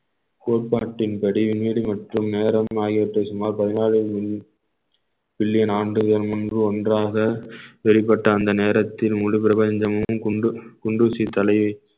கோட்பாட்டின் படி மற்றும் நேரம் ஆகியவற்றை சுமார் பதினாலு மி~ பில்லியன் ஆண்டுகள் முன்பு ஒன்றாக வெளிப்பட்ட அந்த நேரத்தில் முழு பிரபஞ்சமும் கொண்டு குண்டூசி தலையை